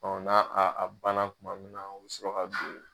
Ɔ n' a a a banna kuma min na o bɛ sɔrɔ ka don.